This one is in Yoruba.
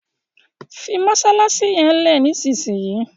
fí masalasi yén lẹ nísìsiyìí!